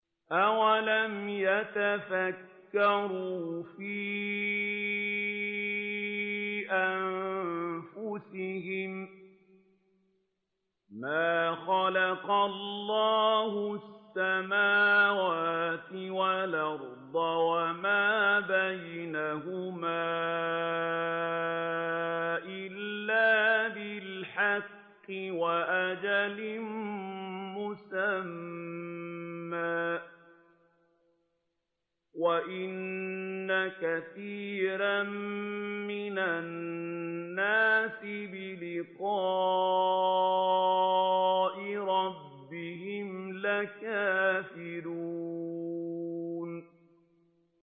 أَوَلَمْ يَتَفَكَّرُوا فِي أَنفُسِهِم ۗ مَّا خَلَقَ اللَّهُ السَّمَاوَاتِ وَالْأَرْضَ وَمَا بَيْنَهُمَا إِلَّا بِالْحَقِّ وَأَجَلٍ مُّسَمًّى ۗ وَإِنَّ كَثِيرًا مِّنَ النَّاسِ بِلِقَاءِ رَبِّهِمْ لَكَافِرُونَ